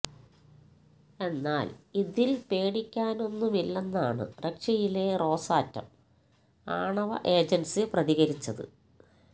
എന്നാല് ഇതില് പേടിക്കാനൊന്നുമില്ലെന്നാണ് റഷ്യയിലെ റോസാറ്റം ആണവ ഏജന്സി പ്രതികരിച്ചത്